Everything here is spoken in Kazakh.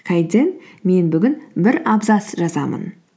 мен бүгін бір абзац жазамын